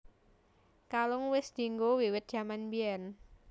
Kalung wis dianggo wiwit jaman biyén